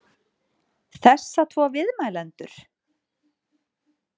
Þessa tvo viðmælendur?